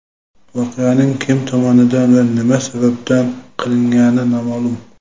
Voqeaning kim tomonidan va nima sababdan qilingani noma’lum.